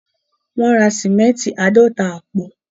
Wọ́n ra sìmẹ́ǹtì àádọ́ta àpò.